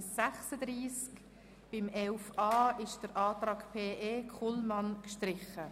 11.a Nachhaltige Entwicklung ist der Antrag Kullmann gestrichen.